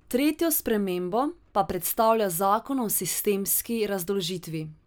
Tretjo spremembo pa predstavlja zakon o sistemski razdolžitvi.